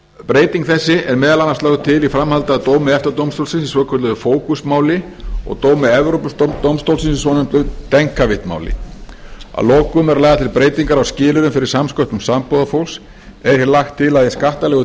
breyting þessi er meðal annars lögð til í framhaldi af dómi efta dómstólsins í svokölluðu fókus máli og dómi evrópudómstólsins í svokölluðu denkavitmáli að lokum eru lagðar til breytingar á skilyrðum fyrir samsköttun sambúðarfólks er því lagt til að í skattalegu